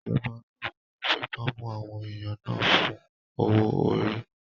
Ìjọba ológun náà fipá mú àwọn èèyàn náà fún owó-orí